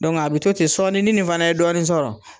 Dɔnku a bi to ten sɔɔni ni nin fana ye dɔɔnin sɔrɔ